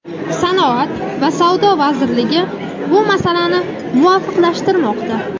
sanoat va savdo vazirligi bu masalani muvofiqlashtirmoqda.